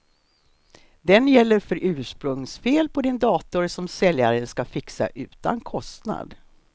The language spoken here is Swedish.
Den gäller för ursprungsfel på din dator som säljaren ska fixa utan kostnad.